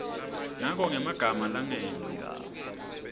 ngako ngemagama langengci